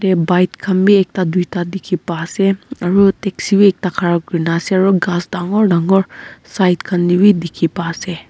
bike khan bhi ekta duida dekhe pa ase aro taxi bhi ekta khara kurina ase aro ghas dangor dangor side khan dae bhi dekhe pa ase.